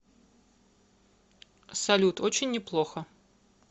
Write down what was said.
салют очень неплохо